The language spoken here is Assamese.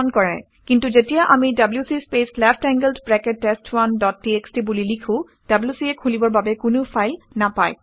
কিন্তু যেতিয়া আমি WC space left angled bracket test one dot TXT বুলি লিখোঁ wc এ খুলিবৰ বাবে কোনো ফাইল নাপায়